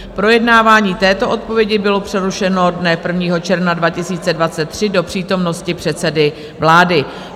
Projednávání této odpovědi bylo přerušeno dne 1. června 2023 do přítomnosti předsedy vlády.